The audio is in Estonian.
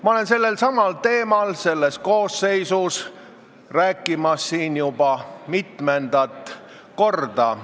Ma olen Riigikogu selle koosseisu ajal sellelsamal teemal siin rääkimas juba mitmendat korda.